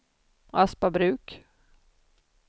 Aspabruk